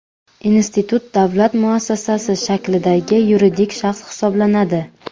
Institut davlat muassasasi shaklidagi yuridik shaxs hisoblanadi.